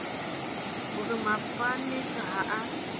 ho re mafanetha ha a